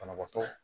Banabaatɔ